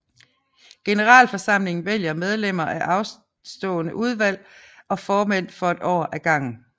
Generalforsamlingen vælger medlemmer af stående udvalg og formænd for et år af gangen